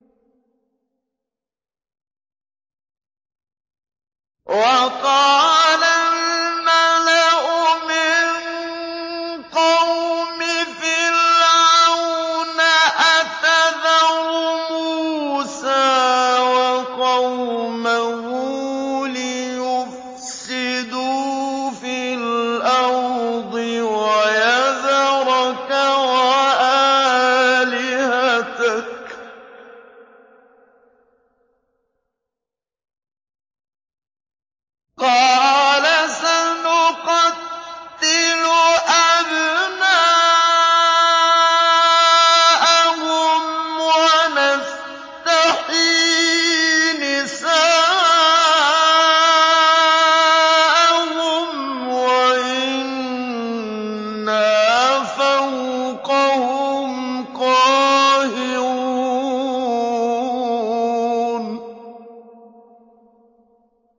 وَقَالَ الْمَلَأُ مِن قَوْمِ فِرْعَوْنَ أَتَذَرُ مُوسَىٰ وَقَوْمَهُ لِيُفْسِدُوا فِي الْأَرْضِ وَيَذَرَكَ وَآلِهَتَكَ ۚ قَالَ سَنُقَتِّلُ أَبْنَاءَهُمْ وَنَسْتَحْيِي نِسَاءَهُمْ وَإِنَّا فَوْقَهُمْ قَاهِرُونَ